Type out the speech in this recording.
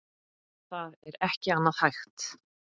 Það er ekki annað hægt.